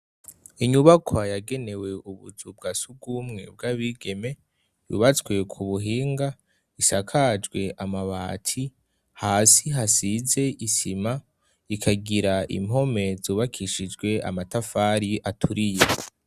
Inyubaka yagenewe ubuzu bwa surwumwe bw'abigeme yubatswe ku buhinga, isakajwe amabati, hasi hasize isima ikagira impome zubakishijwe amatafari aturiye.